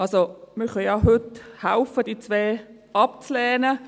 Wir können heute ja mithelfen, diese beiden abzulehnen.